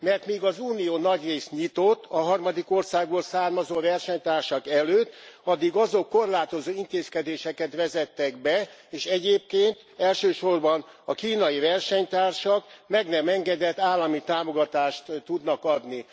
Mert míg az Unió nagyrészt nyitott a harmadik országból származó versenytársak előtt, addig azok korlátozó intézkedéseket vezettek be, és egyébként elsősorban a kínai versenytársak meg nem engedett állami támogatást tudnak adni.